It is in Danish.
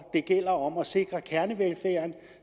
gælder om at sikre kernevelfærden